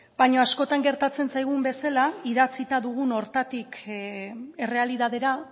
baina askotan gertatzen zaigun bezala idatzita dugun horretatik errealitatera